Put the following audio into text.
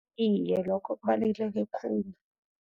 Iye, lokho kubaluleke khulu.